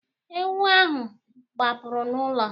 Ewu ahụ gbapụrụ n'ụlọ.